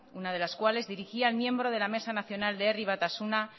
una de las cuales dirigía el miembro de la mesa nacional de herri batasuna